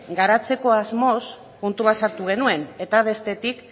garatzeko asmoz puntu bat sartu genuen eta bestetik